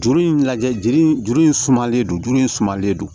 Juru in lajɛ juru in sumalen don juru in sumalen don